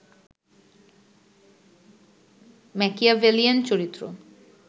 Machiavellian চরিত্র